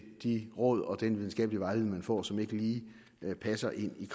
de råd og den videnskabelige vejledning man får som ikke lige passer ind i